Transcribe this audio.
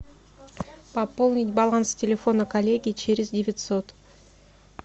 пополнить баланс телефона коллеги через девятьсот